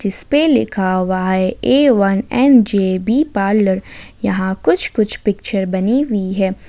इसपे लिखा हुआ है A one N J B parlour यहां कुछ कुछ पिक्चर बनी हुई है।